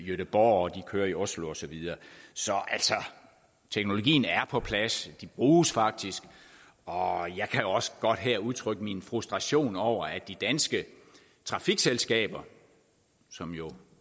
gøteborg de kører i oslo og så videre så teknologien er på plads de bruges faktisk og jeg kan også godt her udtrykke min frustration over at de danske trafikselskaber som jo